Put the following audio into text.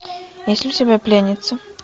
есть ли у тебя пленница